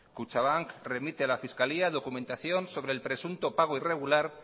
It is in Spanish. kutxabank remite a la fiscalía documentación sobre el presunto pago irregular